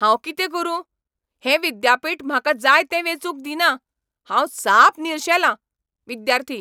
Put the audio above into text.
हांव कितें करुं ? हें विद्यापीठ म्हाका जाय तें वेंचूंक दिना. हांव साप निरशेलां.विद्यार्थी